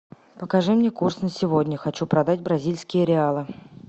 покажи мне курс на сегодня хочу продать бразильские реалы